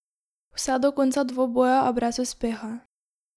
Vse do konca dvoboja, a brez uspeha.